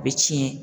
U bɛ ci ye